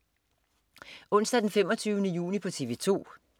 Onsdag den 25. juni - TV 2: